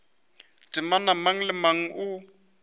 temana mang le mang o